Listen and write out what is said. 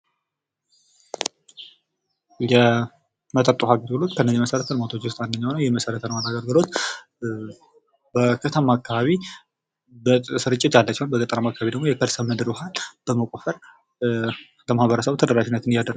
የመጠጥ ውሃ አገልግሎት ከመሰረተ ውስጥ አንደኛው ነው። ይህ የመሰረተ ልማት አገልግሎት በከተማ አካባቢ በስርጭት ያለ ሲሆን በገጠር አካባቢ ደግሞ የከርሰ ምድር ውሃን በመቆፈር ለማህበረሰቡ ተደራሽነት እያደረገ